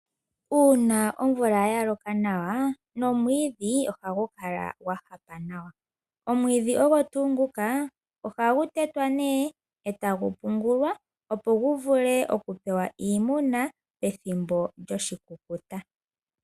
Uuna omvula ya loka nawa nomwiidhi ohagu kala gwahaka nawa, omwiidhi ogo tuu nguka ohagu tetwa etagu pungulwa opo gu vule okupewa iimuna pethimbo lyoshikukuta.